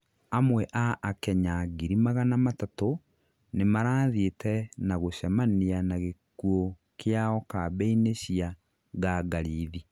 Amwe a akenya ngiri magana matatũ, nĩmarathiĩte na gũcemania na gĩkuũ kĩao kambĩ-ini cia ngangarithi